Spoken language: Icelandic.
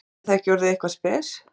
Er það ekki orðið eitthvað spes?